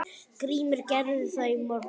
GRÍMUR: Gerði það í morgun!